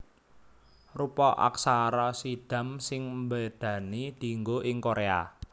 Rupa aksara Siddham sing mbédani dianggo ing Koréa